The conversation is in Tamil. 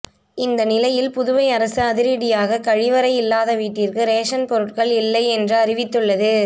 இந்த நிலையில் புதுவை அரசு அதிரடியாக கழிவறை இல்லாத வீட்டிற்கு ரேசன் பொருட்கள் இல்லை என்று அறிவித்துள்ளது